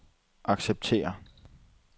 acceptere